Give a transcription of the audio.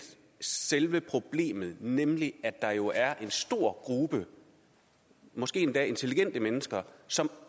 selve problemet nemlig at der jo er en stor gruppe måske endda intelligente mennesker som